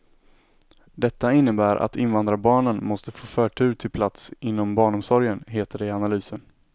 Detta innebär att invandrarbarnen måste få förtur till plats inom barnomsorgen, heter det i analysen.